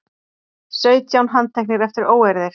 Sautján handteknir eftir óeirðir